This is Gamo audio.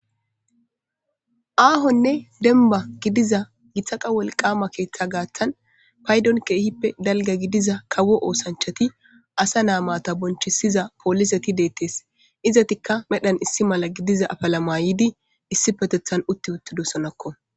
aahonne denba gidiza gitaqa wolqama keeththa gaaththan paydon keehippe dalga gidiza kawo oosanchati asanaa maata bonchisiza pooliseti deettees izatikka medhan issi mala gidiza afala mayidi issi petethan utti uttidosonakko